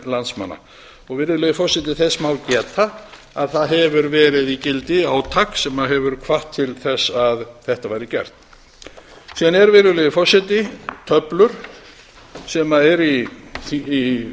landsmanna virðulegi forseti þess má geta að það hefur verið í gildi átak sem hefur hvatt til þess að þetta væri gert síðan eru virðulegi forseti töflur sem eru í